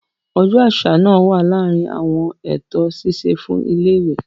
Ọjọ́ àṣà naa wa láàrin àwọn eto ṣiṣe fún ilẹ ìwé.